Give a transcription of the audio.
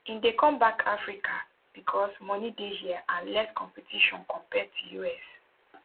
im dey come back to africa becos money dey hia and less competition compared to us